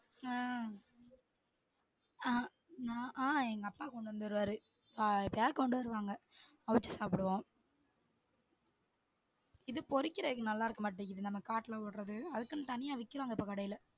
அஹ் ஆமா ஆஹ் எங்க அப்பா கொண்டு வந்துருவாரு அஹ் எப்பயாவது கொண்டு வருவாங்க அவிச்சு சாப்பிடுவோம் இது பொரிக்குரதுக்கு நல்லா இருக்க மாட்டிக்குது காட்டுல வில்றது அதுக்குள்ள தனியா விக்குறாங்க இப்ப கடைல